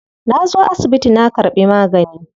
Na zo asibiti na karbi magani.